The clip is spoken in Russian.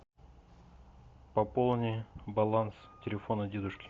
пополни баланс телефона дедушки